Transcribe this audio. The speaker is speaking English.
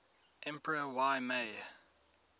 emperor y mei